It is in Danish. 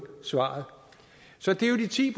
svar så det er jo de ti